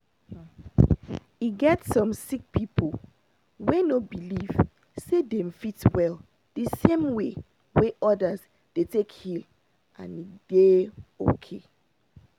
e get some sick people wey no believe say dem fit well the same way wey others dey take heal and e dey okay